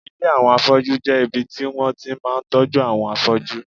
Ilé àwọn afọ́jú jẹ́ ibi tí wọ́n ti máa ń tọ́jú àwọn afọ́jú